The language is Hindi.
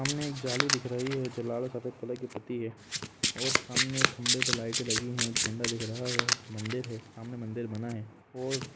सामने एक जाली दिख रही है जो लाल और सफ़ेद कलर की है और सामने एक खम्बे पे लाइटे लगी है झंडा दिख रहा है सामने एक मंदिर है मंदिर बना हुआ और--